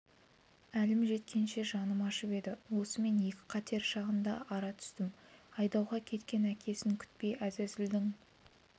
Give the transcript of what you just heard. әлім жеткенше жаным ашып еді осымен екі қатер шағында ара түстім айдауға кеткен әкесін күтпей әзәзілдің